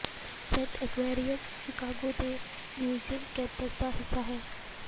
shed Aquarium Chicago ਦੇ museum campus ਦਾ ਹਿੱਸਾ ਹੈ